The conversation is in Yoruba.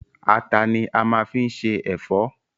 Àtà ni a máa fi se ẹ̀fọ́.